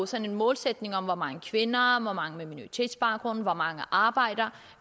sådan en målsætning om hvor mange kvinder hvor mange med minoritetsbaggrund og hvor mange arbejdere